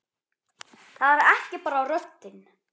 Það er ekki bara röddin.